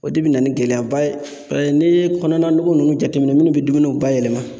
O de bina ni gɛlɛyaba ye paseke n'i ye kɔnɔna nugu nunnu jateminɛ munnu bi dumuniw bayɛlɛma